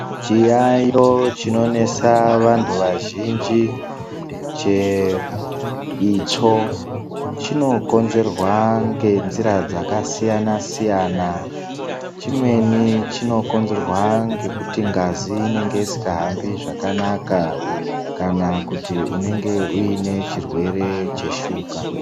Chiyayo chinonesa vantu vazhinji cheitsvo, chinokonzerwa ngenzira dzakasiyana-siyana, chimweni chinokonzerwa ngekuti ngazi inenge isikahambi zvakanaka kana kuti unenge uyine chirwere cheshuka.